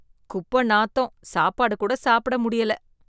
குப்ப நாத்தம் சாப்பாடு கூட சாப்புட முடியல.